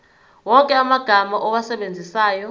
wonke amagama owasebenzisayo